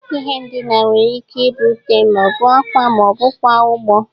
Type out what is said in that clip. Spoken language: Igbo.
Ihe ndịna nwere ike ị bụ ute, ma ọ bụ akwa, ma ọ bụkwa ugbo.